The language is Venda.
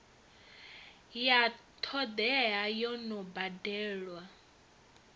ya todea yo no badelwa